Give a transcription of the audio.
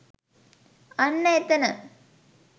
අන්න එතන